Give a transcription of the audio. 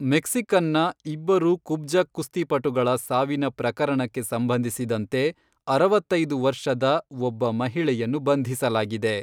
ಮೆಕ್ಸಿಕನ್ನ ಇಬ್ಬರು ಕುಬ್ಜ ಕುಸ್ತಿಪಟುಗಳ ಸಾವಿನ ಪ್ರಕರಣಕ್ಕೆ ಸಂಬಂಧಿಸಿದಂತೆ ಅರವತ್ತೈದು ವರ್ಷದ ಒಬ್ಬ ಮಹಿಳೆಯನ್ನು ಬಂಧಿಸಲಾಗಿದೆ.